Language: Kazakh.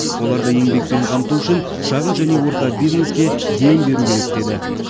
оларды еңбекпен қамту үшін шағын және орта бизнеске дем беру керек деді